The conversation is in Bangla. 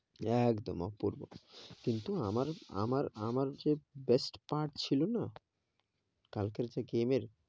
একদম অপূর্ব, কিন্তু আমার, আমার, আমার যে best part ছিল না, কালকের যে game এর,